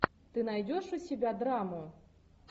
ты найдешь у себя драму